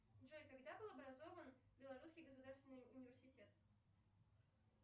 джой когда был образован белорусский государственный университет